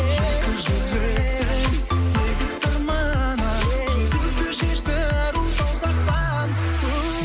екі жүректің егіз сырманы жүзікті шешті ару саусақтан у